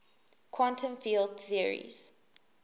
quantum field theories